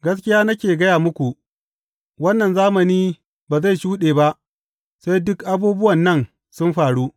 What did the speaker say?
Gaskiya nake gaya muku, wannan zamani ba zai shuɗe ba sai dukan abubuwan nan sun faru.